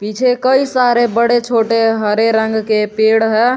पीछे कई सारे बड़े छोटे हरे रंग के पेड़ है।